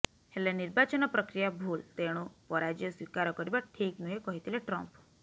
ହେଲେ ନିର୍ବାଚନ ପ୍ରକ୍ରିୟା ଭୁଲ୍ ତେଣୁ ପରାଜୟ ସ୍ୱୀକାର କରିବା ଠିକ୍ ନୁହେଁ କହିଥିଲେ ଟ୍ରମ୍ପ